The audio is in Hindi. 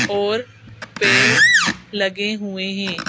और पेड़ लगे हुए हैं।